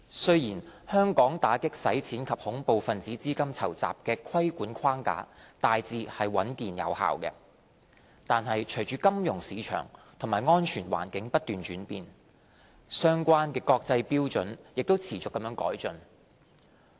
雖然香港打擊洗錢及恐怖分子資金籌集的規管框架大致穩健有效，但隨着金融市場及安全環境不斷轉變，相關的國際標準也持續改進。